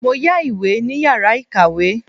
Mo yá ìwé ní yàrá ìkàwé.